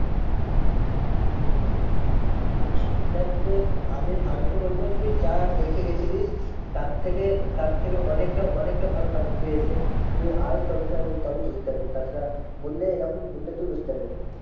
হম দেখ আমি আমি তো বলবো তুই যা দেখে গিয়েছিলিস তার থেকে তার থেকে অনেকটা অনেকটা ভালো পাবি তুই এসে তুই আয় সবই বুঝতে পারবি। তাছাড়া বললে এরকম বললে তুই বুঝতে পারবি না।